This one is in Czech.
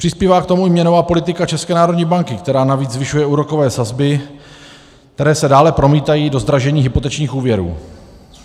Přispívá k tomu i měnová politika České národní banky, která navíc zvyšuje úrokové sazby, které se dále promítají do zdražení hypotečních úvěrů.